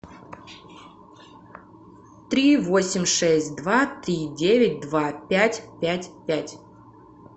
три восемь шесть два три девять два пять пять пять